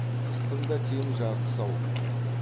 қыстың да тең жартысы ауып барады